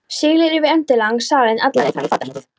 Siglir yfir endilangan salinn, alla leið fram í fatahengið.